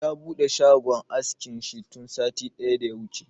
Ya buɗe shagon askin shi tun satin da ya wuce